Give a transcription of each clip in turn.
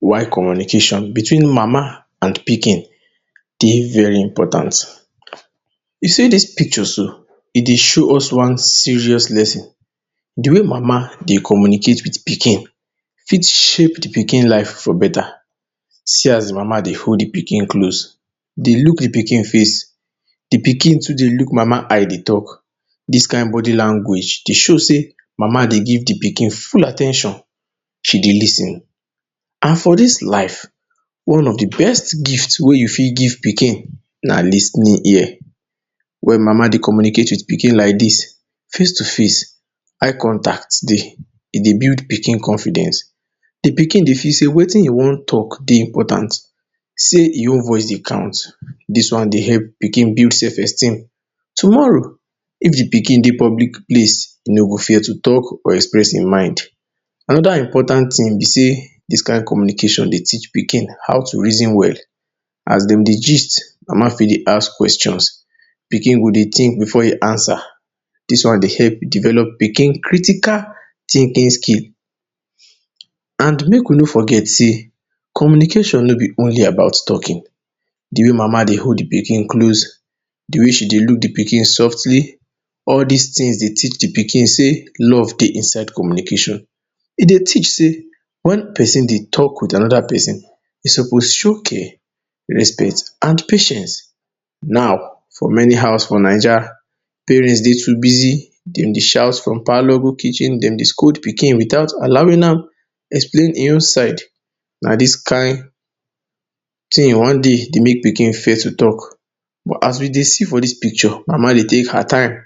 You see dis picture so, E dey show us one serious lesson. De way Mama dey communicate with de pikin fit shape de pikin life for beta. See as Mama dey hold de pikin close, dey look de pikin face. De pikin too dey look Mama eye dey talk. Dis kin body language dey show say Mama dey give de pikin full at ten tion. She dey lis ten, and for dis life, one of de best gift wey you fit give pikin na lis ten ing ear. When Mama dey communicate with pikin like dis, face to face, eye contact dey. E dey build pikin confidence. De pikin dey feel say wetin e wan talk dey important, say e own voice dey count. Dis one dey help pikin build self-esteem. Tomorrow, if de pikin dey public place, e no go fear to talk or express e mind. Another important tin be say, dis kin communication dey teach pikin how to reason well. As dem dey gist, Mama fit dey ask Kweshon: Pikin go dey think before e answer. Dis one dey help develop pikin critical thinking skill. And make we no forget say, communication no be only about talking. De way Mama dey hold de pikin close, de way she dey look de pikin softly — all dis tin dey teach de pikin say, love dey inside communication. E dey teach say, when pesin dey talk with another pesin, e suppose show care, respect and patience. Now for many house for Naija, parents too dey very busy. Dem dey shout from parlor go kitchen. Dem dey scold pikin without allowing am explain e own side. Na dis kin tin one day dey make pikin fear to talk. But as we dey see for dis picture, Mama dey take her time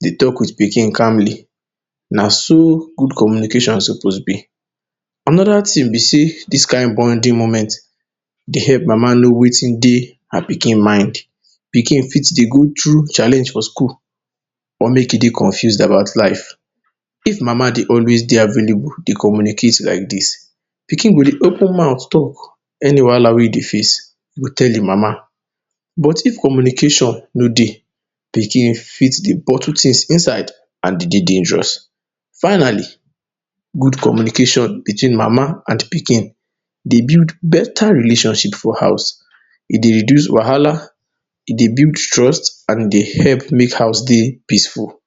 dey talk with pikin calmly. Naso good communication suppose be. Another tin be say, dis kin bonding moment dey help Mama know wetin dey her pikin mind. Pikin fit dey go through challenge for school or make e dey confused about life. If Mama dey always dey available dey communicate with pikin like dis, pikin go dey open mouth dey talk any wahala wey e dey face — go tell e Mama. But, if communication no dey, pikin fit dey bottle tins inside and e dey dangerous. Finally, good communication between Mama and pikin dey build beta relationship for house. E dey reduce wahala. E dey build trust and e dey help make house dey peaceful.